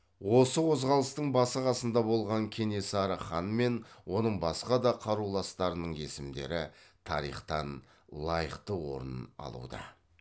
осы қозғалыстың басы қасында болған кенесары хан мен оның басқа да қаруластарының есімдері тарихтан лайықты орнын алуда